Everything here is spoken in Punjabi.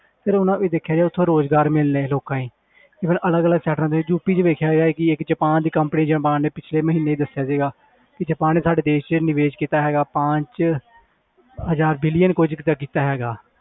ਫਿਰ ਉਹਦਾ ਵੀ ਦੇਖਿਆ ਜਾਏ ਉੱਥੋਂ ਰੁਜ਼ਗਾਰ ਮਿਲਣੇ ਲੋਕਾਂ ਨੂੰ even ਅਲੱਗ ਅਲੱਗ states ਦੇ ਯੂਪੀ 'ਚ ਵੇਖਿਆ ਜਾਏ ਕਿ ਇੱਕ ਜਪਾਨ ਦੀ company ਜਪਾਨ ਨੇ ਪਿੱਛਲੇ ਮਹੀਨੇ ਦੱਸਿਆ ਸੀਗਾ ਕਿ ਜਪਾਨ ਨੇ ਸਾਡੇ ਦੇਸ 'ਚ ਨਿਵੇਸ ਕੀਤਾ ਹੈਗਾ ਪਾਂਚ ਹਜ਼ਾਰ billion ਕੁੱਝ ਕੁ ਦਾ ਕੀਤਾ ਹੈਗਾ